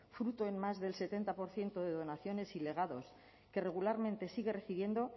fruto en más del setenta por ciento de donaciones y legados que regularmente sigue recibiendo